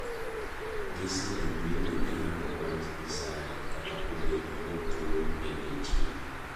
Gisedhi dhi nyime gi lando wach Nyasaye kata obedo ni tuo ne nitie.